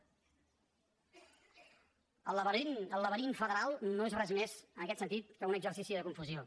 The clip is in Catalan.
el laberint el laberint federal no és res més en aquest sentit que un exercici de confusió